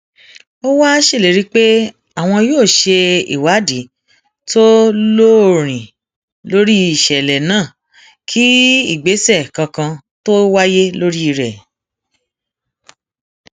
ó wáá ṣèlérí pé àwọn yóò ṣe ìwádìí tó lóòrín lórí ìṣẹlẹ náà kí ìgbésẹ kankan tóo wáyé lórí rẹ